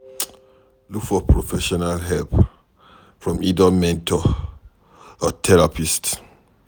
Look for professional help from either mentor or therapist